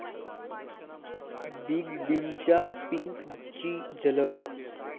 big बींच्या 'पिंक'ची झलक